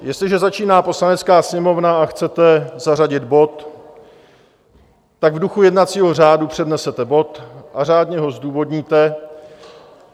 Jestliže začíná Poslanecká sněmovna a chcete zařadit bod, tak v duchu jednacího řádu přednesete bod a řádně ho zdůvodníte.